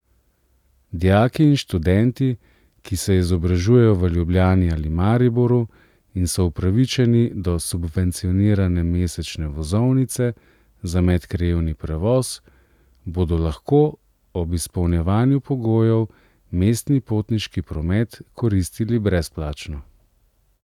Dijaki in študenti, ki se izobražujejo v Ljubljani ali Mariboru in so upravičeni do subvencionirane mesečne vozovnice za medkrajevni prevoz, bodo lahko ob izpolnjevanju pogojev mestni potniški promet koristili brezplačno.